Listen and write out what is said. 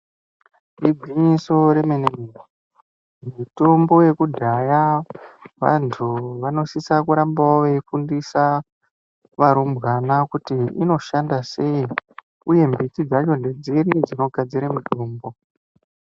Igwinyiso remene-mene mitombo yekudhaya antu anosisa kurambawo eifundisa varumbwana kuti inoshanda sei uye mbiti dzacho ndedzipi dzinogadzirwe mitombo.